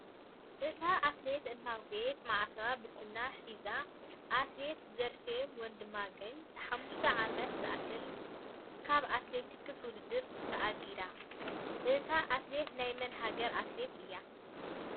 እታ ኣትሌት እናጎየየት ማዕተባ ብስና ሒዛን ኣትሌት ዘርፌ ወንድማገኝ ንሓሙሽተ ዓመታት ዝኣክል ካብ ኣትሌቲክስ ውድድር ታኣጊዳ። ኣታ ኣትሌት ናይ መን ሃገር ኣትሌት እያ?